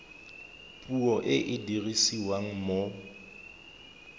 puo e e dirisiwang mo